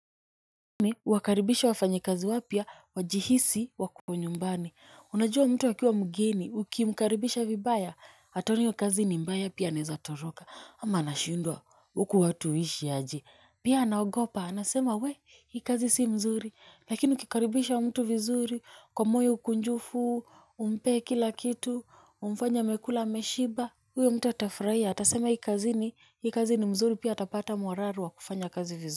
Ni wakaribisha wafanyikazi wapya wajihisi wako nyumbani. Unajua mtu akiwa mgeni ukimkaribisha vibaya, ataona hio kazi ni mbaya pia anaweza toroka. Ama anashindwa huku watu huishi aje. Pia anaogopa anasema we hii kazi si mzuri. Lakini ukikaribisha mtu vizuri, kwa moyo mkunjufu umpe kila kitu, umfaye amekula ameshiba huyo mtu atafurahia. Atasema hii kazini, hii kazi ni mzuri pia atapata morale ya kufanya kazi v.